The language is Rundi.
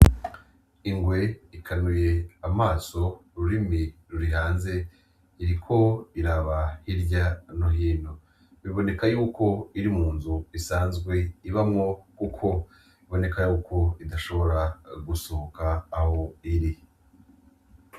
Inrwe ikanuye amaso ,ururimi ruri hanze, iriko iraba hirya no hino ,biboneka ko iri munzu isanzwe ibamwo kuko biboneka ko idashobora gusohoka aho iri.